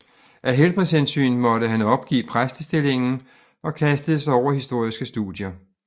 Af helbredshensyn måtte han opgive præstestillingen og kastede sig over historiske studier